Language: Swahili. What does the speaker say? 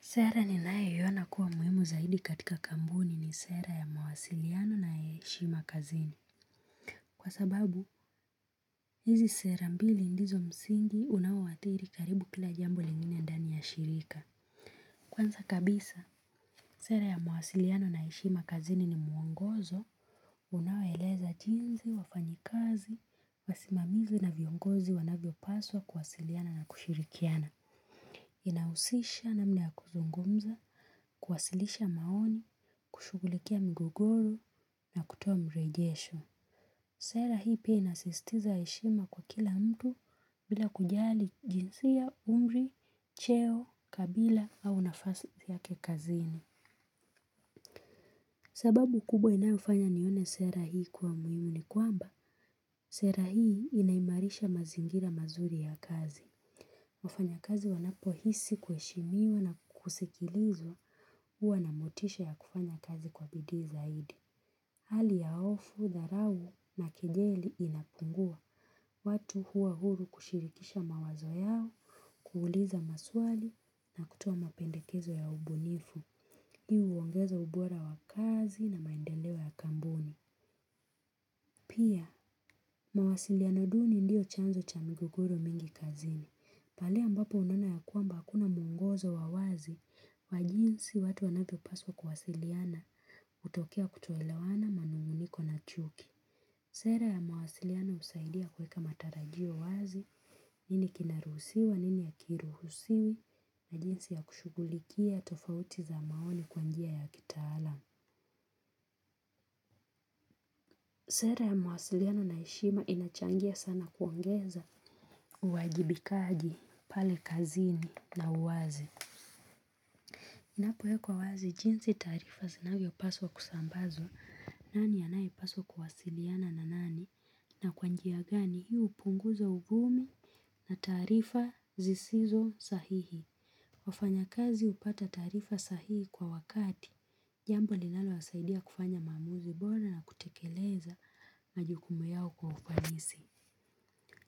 Sera ninayeiona kuwa muhimu zaidi katika kampuni ni sera ya mawasiliano na heshima kazini. Kwa sababu, hizi sera mbili ndizo msingi unaoathiri karibu kila jambo lingine ndani ya shirika. Kwanza kabisa, sera ya mawasiliano na heshima kazini ni mwongozo unawaeleza jinsi, wafanyikazi, wasimamizi na viongozi wanavyopaswa kuwasiliana na kushirikiana. Inahusisha namna ya kuzungumza, kuwasilisha maoni, kushugulikia migogoro na kutoa mrejesho. Sera hii pia inasisitiza heshima kwa kila mtu bila kujali jinsia, umri, cheo, kabila au nafasi yake kazini. Sababu kubwa inayofanya nione sera hii kuwa muhimu ni kwamba sera hii inaimarisha mazingira mazuri ya kazi wafanyakazi wanapohisi kuheshimiwa na kusikilizwa huwa na motisha ya kufanya kazi kwa bidii zaidi. Hali ya hofu, dharau na kijeli inapungua. Watu huwa huru kushirikisha mawazo yao kuuliza maswali na kutoa mapendekezo ya ubunifu. Hii uongeza ubora wa kazi na maendeleo ya kampuni. Pia, mawasiliano ya duni ndio chanzo cha migogoro mingi kazini. Pahali ambapo unaona ya kwamba akuna mwongozo wa wazi wa jinsi watu wanavyopaswa kuwasiliana hutokea kutoelawana manuguniko na chuki. Sera ya mawasiliano husaidia kuweka matarajio wazi nini kinaruhusiwa nini hakiruhusiwi na jinsi ya kushughulikia tofauti za maoni kwa njia ya kitaalam. Sera ya mawasiliana na heshima inachangia sana kuongeza uwajibikaji pale kazini na uwazi. Napo wekwa wazi jinsi taarifa zinavyo paswa kusambazwa, nani anaye paswa kuwasiliana na nani, na kwa njia gani hii hupunguza uvuno na taarifa zisizo sahihi. Wafanyakazi hupata taarifa sahihi kwa wakati, jambo linalowasaidia kufanya maamuzi bora na kutekeleza majukumu yao kwa ufanisi.